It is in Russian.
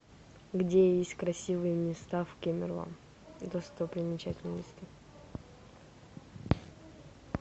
где есть красивые места в кемерово достопримечательности